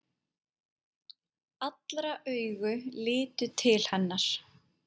Allra augu litu til hennar.